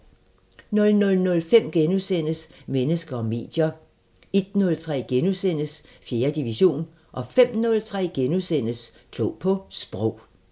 00:05: Mennesker og medier * 01:03: 4. division * 05:03: Klog på Sprog *